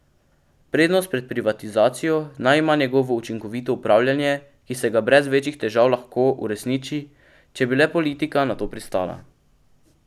Prednost pred privatizacijo naj ima njegovo učinkovito upravljanje, ki se ga brez večjih težav lahko uresniči, če bi le politika na to pristala.